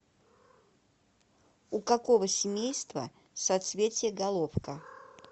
у какого семейства соцветие головка